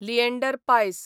लिएंडर पायस